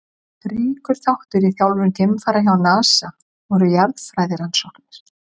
Ríkur þáttur í þjálfun geimfara hjá NASA voru jarðfræðirannsóknir.